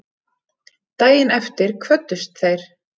Daginn eftir kvöddust þeir.